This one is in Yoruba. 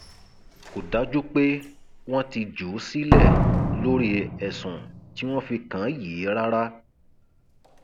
kò dájú pé wọn ti jù ú sílẹ lórí ẹsùn tí wọn fi kàn án yìí rárá